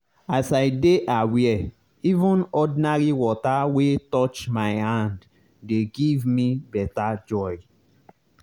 as i dey aware even ordinary water wey touch my hand dey give me better joy.